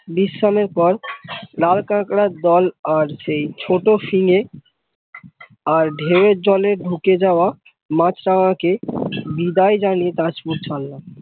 বিশ্রামের পর লাল কাঙরার দল আর ছোট শিঙে, আর ধেউ এর জলে ঢুকে যাওয়া মাছরাঙ্গা কে বিদায় জানিয়ে তাজপুর ছারলাম।